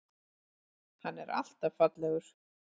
Hann er alltaf fallegur.